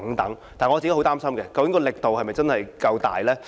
但是，我很擔心究竟力度是否真的足夠呢？